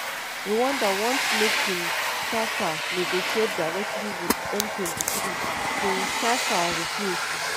rwanda want make kinshasa negotiate directly wit m23 kinshasa refuse.